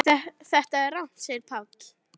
Þetta er rangt segir Páll.